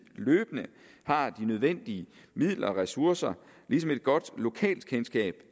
løbende har de nødvendige midler og ressourcer ligesom et godt lokalkendskab